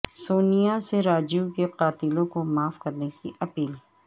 سونیا سے راجیو کے قاتلوں کو معاف کرنے کی اپیل